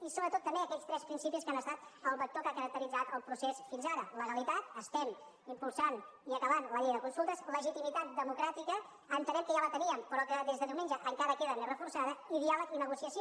i sobretot també aquells tres principis que han estat el vector que ha caracteritzat el procés fins ara legalitat estem impulsant i acabant la llei de consultes legitimitat democràtica entenem que ja la teníem però que des de diumenge encara queda més reforçada i diàleg i negociació